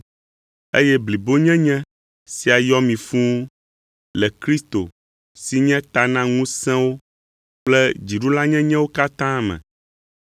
eye blibonyenye sia yɔ mi fũu le Kristo si nye ta na ŋusẽwo kple dziɖulanyenyewo katã me.